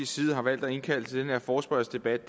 side har valgt at indkalde til den her forespørgselsdebat